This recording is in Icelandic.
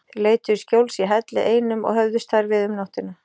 Þeir leituðu skjóls í helli einum og höfðust þar við um nóttina.